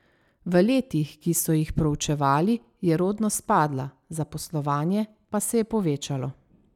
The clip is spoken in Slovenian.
V letih, ki so jih proučevali, je rodnost padla, zaposlovanje pa se je povečalo.